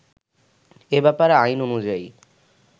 এ ব্যাপারে আইন অনুযায়ী